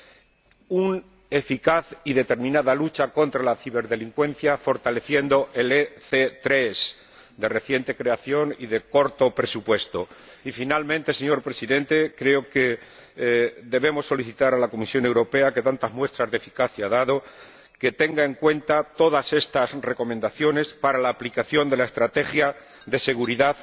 es, además, necesaria una eficaz y determinada lucha contra la ciberdelincuencia fortaleciendo el EC3, de reciente creación y de corto presupuesto. Y, por último, señor Presidente, creo que debemos solicitar a la Comisión Europea, que tantas muestras de eficacia ha dado, que tenga en cuenta todas estas recomendaciones para la aplicación de la Estrategia de Seguridad